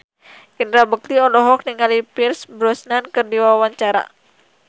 Indra Bekti olohok ningali Pierce Brosnan keur diwawancara